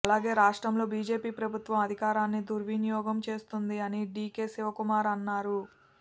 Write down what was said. అలాగే రాష్ట్రంలో బిజెపి ప్రభుత్వం అధికారాన్ని దుర్వినియోగం చేస్తోంది అని డీకే శివకుమార్ అన్నారు